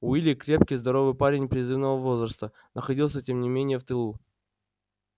уилли крепкий здоровый парень призывного возраста находился тем не менее в тылу